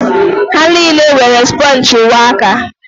Ha niile nwere spọnchị uwe aka.